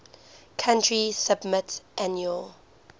country submit annual